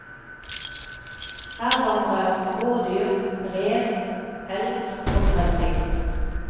Her vandrer rådyr, rev, elg og grevling.